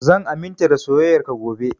Zan aminta da soyayar ka gobe